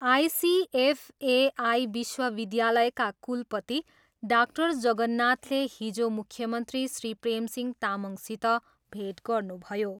ICFAI विश्वविद्यालयका कुलपति doctor जगन्नाथले हिजो मुख्यमन्त्री श्री प्रेमसिंह तामङसित भेट गर्नुभयो।